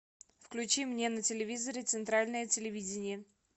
включи мне на телевизоре центральное телевидение